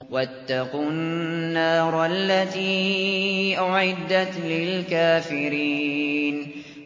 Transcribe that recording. وَاتَّقُوا النَّارَ الَّتِي أُعِدَّتْ لِلْكَافِرِينَ